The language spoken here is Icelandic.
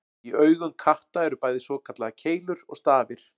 Í augum katta eru bæði svokallaðar keilur og stafir.